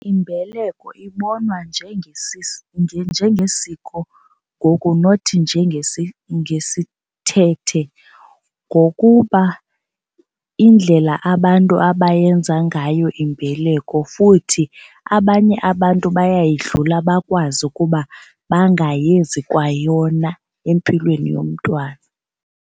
Imbeleko ibonwa njengesiko ngoku nothi ngokuba indlela abantu abayenza ngayo imbeleko futhi abanye abantu bayayidlula bakwazi ukuba bangayenzi kwayona empilweni yomntwana.